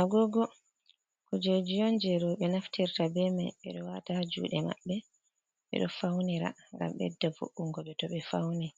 Agogo kujeji'on je rouɓe naftirta be mai. Ɓe ɗo wata juɗe mabɓe ɓe ɗo Faunira ngam bedda vo’ungo ɓe to ɓe Fauni.